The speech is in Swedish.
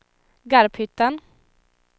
Garphyttan